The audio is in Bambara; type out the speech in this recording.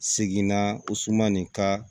Seginna o suman nin ka